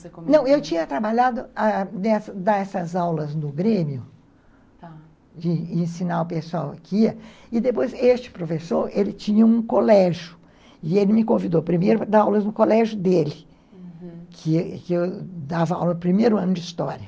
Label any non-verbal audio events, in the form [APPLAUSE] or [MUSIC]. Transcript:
[UNINTELLIGIBLE] Não, eu tinha trabalhado, ãh, nessas aulas no Grêmio, de ensinar o pessoal aqui, e depois este professor, ele tinha um colégio, e ele me convidou primeiro para dar aulas no colégio dele, uhum, que eu dava aula no primeiro ano de História.